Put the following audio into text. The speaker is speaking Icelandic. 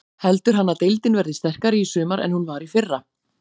Heldur hann að deildin verði sterkari í sumar en hún var í fyrra?